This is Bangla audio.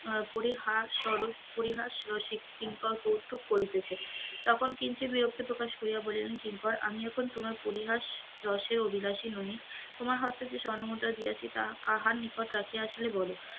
পরিহার পরিহার স্বরুপ পরিহাস রসিক কিঙ্কর কৌতুক করিতেছে, তখন কিঞ্চিত বিরক্তি প্রকাশ করিয়া বলিলেন কিঙ্কর আমি এখন তোমার পরিহাস রসে অভিলাসী নহি, তোমার হস্তে যে স্বর্ণ মুদ্রা দিয়াছি তা কাহার নিকট রাখিয়া আসিলে বল,